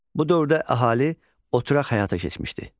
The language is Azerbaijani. Bu dövrdə əhali oturaq həyata keçmişdi.